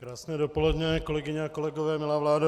Krásné dopoledne, kolegyně a kolegové, milá vládo.